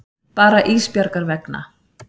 Bara Ísbjargar vegna.